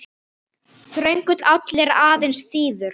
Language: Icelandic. Þröngur áll er aðeins þíður.